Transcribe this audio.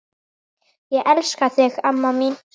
Ég elska þig, amma mín.